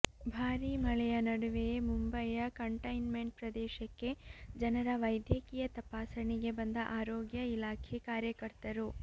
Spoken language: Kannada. ಭಾರೀ ಮಳೆಯ ನಡುವೆಯೇ ಮುಂಬೈಯ ಕಂಟೈನ್ ಮೆಂಟ್ ಪ್ರದೇಶಕ್ಕೆ ಜನರ ವೈದ್ಯಕೀಯ ತಪಾಸಣೆಗೆ ಬಂದ ಆರೋಗ್ಯ ಇಲಾಖೆ ಕಾರ್ಯಕರ್ತರು